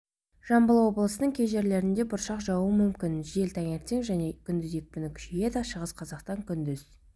жамбыл облысының кей жерлерінде бұршақ жаууы мүмкін жел таңертең және күндіз екпіні күшейеді шығыс қазақстан күндіз